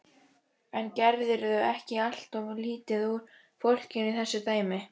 En gerirðu ekki alltof lítið úr fólkinu í þessu dæmi?